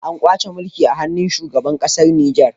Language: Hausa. An kwace mulki a hannun shugaban kasar nijar